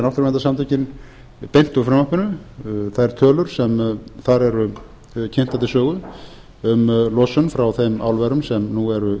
rekja náttúruverndarsamtökin beint úr frumvarpinu þær tölur sem þar eru kynntar til sögu um losun frá þeim álverum sem nú eru